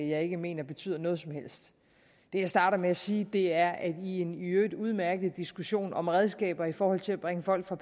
jeg ikke mener betyder noget som helst det jeg starter med at sige er at i en i øvrigt udmærket diskussion om redskaber i forhold til at bringe folk der